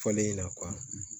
Fɔlen in na